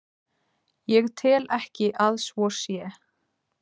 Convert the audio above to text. Ég tel ekki að svo sé.